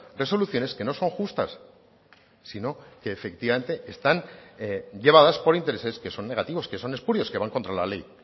resoluciones que no son justas sino que efectivamente están llevadas por intereses que son negativos que son espurios que van contra la ley